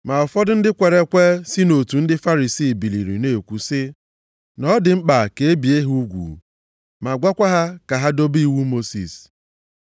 Ma ụfọdụ ndị kwere ekwe si nʼotu ndị Farisii biliri na-ekwu sị, “Na ọ dị mkpa ka e bie ha ugwu ma gwakwa ha ka ha dobe iwu Mosis.”